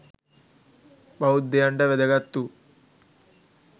බෞද්ධයන්ට වැදගත්වූ